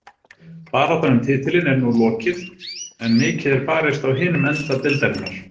Baráttan um titilinn er nú lokið en mikið er barist á hinum enda deildarinnar.